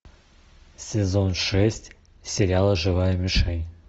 сезон шесть сериала живая мишень